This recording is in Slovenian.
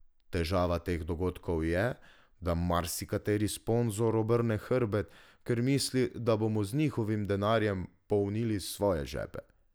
Težava teh dogodkov je, da marsikateri sponzor obrne hrbet, ker misli, da bomo z njihovim denarjem polnili svoje žepe.